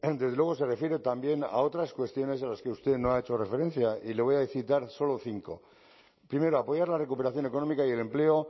desde luego se refiere también a otras cuestiones a las que usted no ha hecho referencia y le voy a citar solo cinco primero apoyar la recuperación económica y el empleo